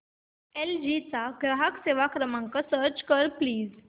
L G चा ग्राहक सेवा क्रमांक सर्च कर प्लीज